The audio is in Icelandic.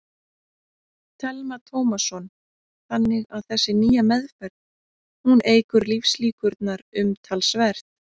Telma Tómasson: Þannig að þessi nýja meðferð, hún eykur lífslíkurnar umtalsvert?